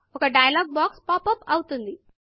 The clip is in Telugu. ఒక డయలాగ్ బాక్స్ పాప్ అప్ అవుతుంది